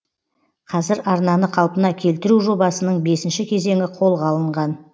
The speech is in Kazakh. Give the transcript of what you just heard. қазір арнаны қалпына келтіру жобасының бесінші кезеңі қолға алынған